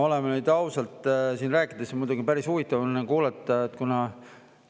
No oleme nüüd ausad, siin oli muidugi päris huvitav kuulata.